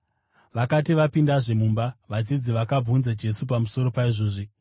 Vakati vapindazve mumba, vadzidzi vakabvunza Jesu pamusoro paizvozvi.